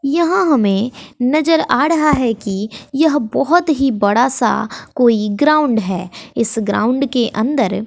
यहां हमें नजर आ ड़हा है कि यह बहोत ही बड़ा सा कोई ग्राउंड है इस ग्राउंड के अंदर--